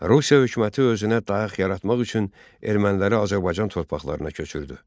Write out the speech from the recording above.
Rusiya hökuməti özünə dayaq yaratmaq üçün erməniləri Azərbaycan torpaqlarına köçürdü.